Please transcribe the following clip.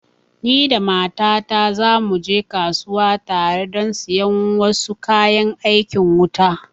Ni da mata ta za mu je kasuwa tare don siyan wasu kayan aikin wuta